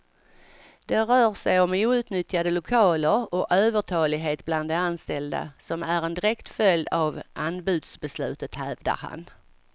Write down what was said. Det rör sig om outnyttjade lokaler och övertalighet bland de anställda, som är en direkt följd av anbudsbeslutet, hävdar han.